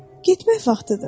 Getmək vaxtıdır.